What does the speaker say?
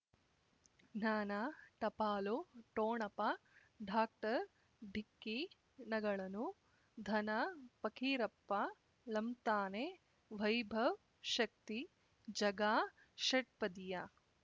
ಜ್ಞಾನ ಟಪಾಲು ಠೊಣಪ ಡಾಕ್ಟರ್ ಢಿಕ್ಕಿ ಣಗಳನು ಧನ ಫಕೀರಪ್ಪ ಳಂತಾನೆ ವೈಭವ್ ಶಕ್ತಿ ಝಗಾ ಷಟ್ಪದಿಯ